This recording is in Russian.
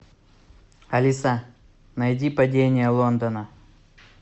алиса найди падение лондона